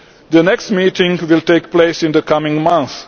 The next meeting will take place in the coming month.